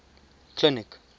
clinic